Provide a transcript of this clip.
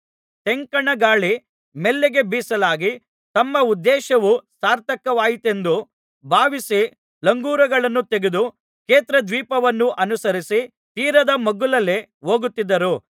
ತೆಂಕಣ ಗಾಳಿ ಮೆಲ್ಲಗೆ ಬೀಸಲಾಗಿ ತಮ್ಮ ಉದ್ದೇಶವು ಸಾರ್ಥಕವಾಯಿತೆಂದು ಭಾವಿಸಿ ಲಂಗರುಗಳನ್ನು ತೆಗೆದು ಕ್ರೇತ ದ್ವೀಪವನ್ನು ಅನುಸರಿಸಿ ತೀರದ ಮಗ್ಗುಲಲ್ಲೇ ಹೋಗುತ್ತಿದ್ದರು